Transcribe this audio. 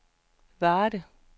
Varde